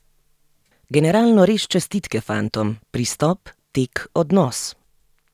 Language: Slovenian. Generalno res čestitke fantom, pristop, tek, odnos.